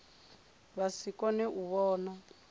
vha si kone u vhona